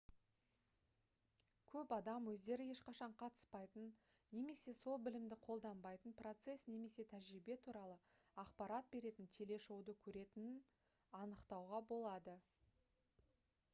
көп адам өздері ешқашан қатыспайтын немесе сол білімді қолданбайтын процесс немесе тәжірибе туралы ақпарат беретін телешоуды көретінін анықтауға болады